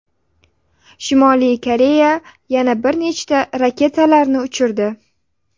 Shimoliy Koreya yana bir nechta raketalarni uchirdi.